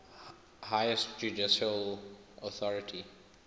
highest judicial authority